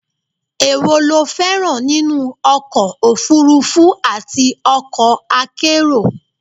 èwo lo féràn nínú ọkọ̀ òfurufú àti okọ̀ akérò?